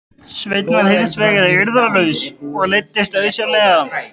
Sveinn var hins vegar eirðarlaus og leiddist auðsjáanlega.